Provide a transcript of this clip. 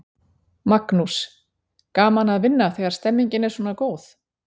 Magnús: Gaman að vinna þegar stemningin er svona góð?